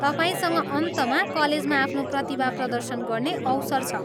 तपाईँसँग अन्तमा कलेजमा आफ्नो प्रतिभा प्रदर्शन गर्ने अवसर छ।